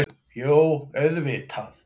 Jú auðvitað.